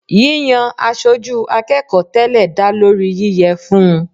Yiyan aṣojú akẹ́kọ̀ọ́ tẹ́lẹ̀ dá lórí yíyẹ fún un.